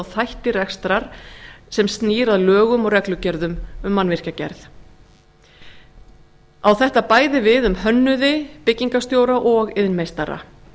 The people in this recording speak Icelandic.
þætti rekstrar sem snýr að lögum og reglugerðum um mannvirkjagerð á þetta bæði við um hönnuði byggingarstjóra og iðnmeistara